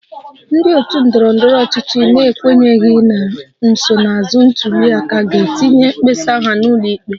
Ndị otu ndọrọ ndọrọ ọchịchị na-ekwenyeghị na nsonaazụ ntuli aka ga-etinye mkpesa ha n'ụlọ ikpe